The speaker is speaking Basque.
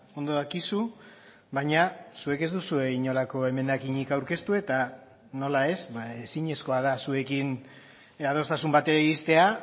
ondo dakizu baina zuek ez duzue inolako emendakinik aurkeztu eta nola ez ezinezkoa da zuekin adostasun batera iriztea